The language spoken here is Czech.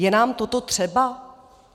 Je nám toto třeba?